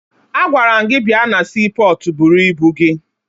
Agwara m gị bịa na siipọọtụ buru ibu gị!